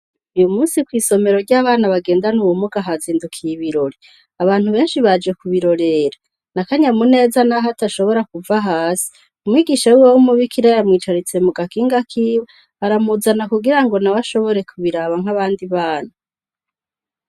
Uyu munsi kwisomero ryabana bagendana ubumuga hazindukiye ibirori abantu benshi baje kubirorera nakanyamuneza naho badashobora kuva hasi umwigisha wiwe wumubikira yamwicaritse kugakinga kiwe aramuzana nawene ashobore kubiraba nkabandi bana